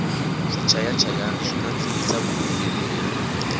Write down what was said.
swichaya chayani swi nandzihisa vuyimbeleri